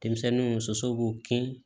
Denmisɛnninw musow b'u kin